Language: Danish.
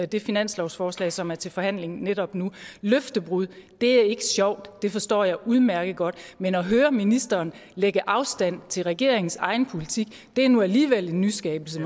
det finanslovsforslag som er til forhandling netop nu løftebrud er ikke sjovt og det forstår jeg udmærket godt men at høre ministeren lægge afstand til regeringens egen politik er nu alligevel en nyskabelse